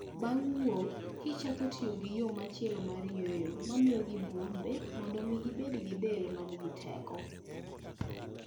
Bang' wuok kich chako tiyo gi yo machielo mar yweyo mamiyogi bwombe mondo omi gibed gi del ma nigi teko.